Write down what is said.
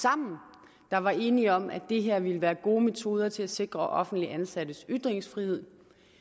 sammen der var enige om at det her ville være gode metoder til at sikre offentligt ansattes ytringsfrihed